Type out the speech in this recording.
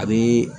A bɛ